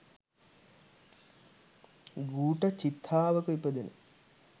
ගූඨ චිත්තාවක ඉපදෙන